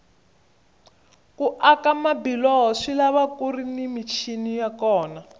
ku aka mabiloho swilava kuri ni michini ya kona